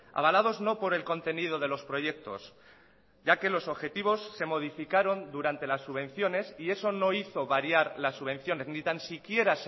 avalados no por el contenido de los proyectos ya que los objetivos se modificaron durante las subvenciones y eso no hizo variar las subvenciones ni tan siquiera